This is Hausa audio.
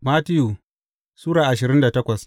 Mattiyu Sura ashirin da takwas